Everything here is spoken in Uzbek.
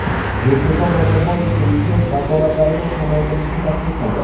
Nursulton Nazarboyev prezident vakolatlarini kamaytirishni taklif qildi.